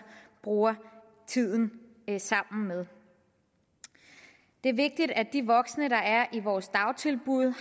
bruger tiden sammen med det er vigtigt at de voksne der er i vores dagtilbud